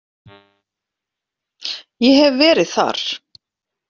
Ég hef verið þar.